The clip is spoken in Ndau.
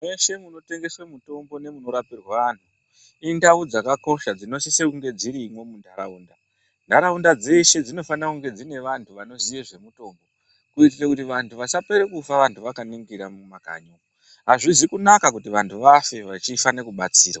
Mweshe munotengeswa mutombo nemuno rapirwa antu indau dzakakosha dzinosise kunga dzirimwo munharaunda. Nharaunda dzeshe dzinofana kunge dzine vantu vanoziye zvemutombo kuitira kuti vantu vasapera kufa vantu vakaningira mumakanyi. Azvizi kunaka kuti vantu vafe vachifana kubatsirwa.